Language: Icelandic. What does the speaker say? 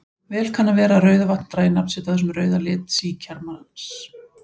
Vel kann að vera að Rauðavatn dragi nafn sitt af þessum rauða lit síkjamarans.